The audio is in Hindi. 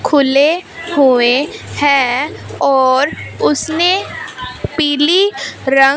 खुले हुए हैं और उसने पीली रंग--